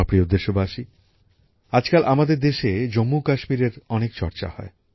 আমার প্রিয় দেশবাসী আজকাল আমাদের দেশে জম্মুকাশ্মীরের অনেক চর্চা হয়